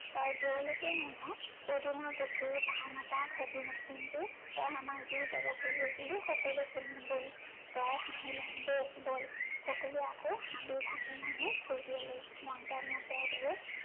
তই যলৈকে নিয়, পদুমৰ পুখুৰী পাওঁ নাপাওঁ সেইটো নাই, কিন্তু তই আমাক যি কব খুজিছিলি, সকলো শুনিম বল। জয়ে হাঁহিলে, বল বল, সকলোৱে আকৌ হাবি ভাঙি ভাঙি খোঁজ ললে। মন্ত্ৰমুগ্ধৰ দৰে